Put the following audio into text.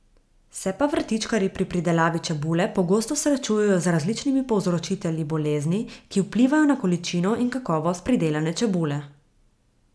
Se pa vrtičkarji pri pridelavi čebule pogosto srečujejo z različnimi povzročitelji bolezni, ki vplivajo na količino in kakovost pridelane čebule.